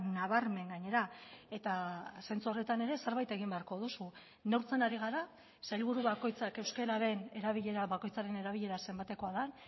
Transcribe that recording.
nabarmen gainera eta zentzu horretan ere zerbait egin beharko duzu neurtzen ari gara sailburu bakoitzak euskararen erabilera bakoitzaren erabilera zenbatekoa den